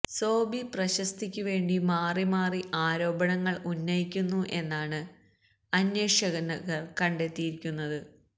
സോബി പ്രശസ്തിക്കു വേണ്ടി മാറിമാറി ആരോപണങ്ങൾ ഉന്നയിക്കുന്നു എന്നാണ് അന്വേഷണകർ കണ്ടെത്തിയിരിക്കുന്നത്